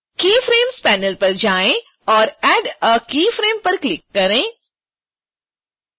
keyframes panel पर जाएँ और add a keyframe पर क्लिक करें